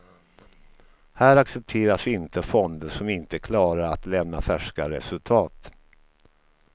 Här accepteras inte fonder som inte klarar att lämna färska resultat.